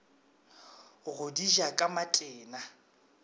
go di ja ka matena